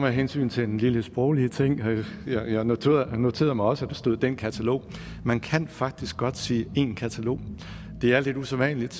hensyn til den lille sproglige ting jeg noterede noterede mig også at der stod den katalog man kan faktisk godt sige en katalog det er lidt usædvanligt